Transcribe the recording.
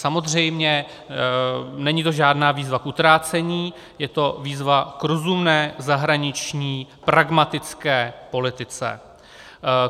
Samozřejmě, není to žádná výzva k utrácení, je to výzva k rozumné zahraniční pragmatické politice.